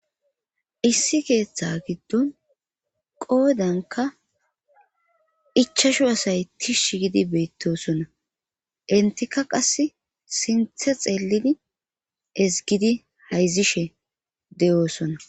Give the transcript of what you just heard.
Issi keeththa giddon qoodanka ichashu asay tish gidi beettosona intika qas sinthe xeelidi ezgidi hayzishe de'oosona.